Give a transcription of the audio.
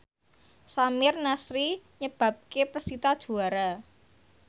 Samir Nasri nyebabke persita juara